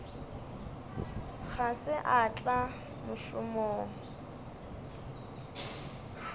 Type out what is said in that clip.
ga se a tla mošomong